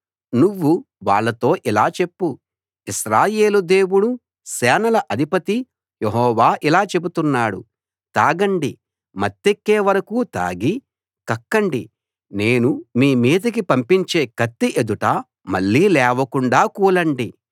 నువ్వు వాళ్ళతో ఇలా చెప్పు ఇశ్రాయేలు దేవుడు సేనల అధిపతి యెహోవా ఇలా చెబుతున్నాడు తాగండి మత్తేక్కే వరకు తాగి కక్కండి నేను మీ మీదికి పంపించే కత్తి ఎదుట మళ్ళీ లేవకుండా కూలండి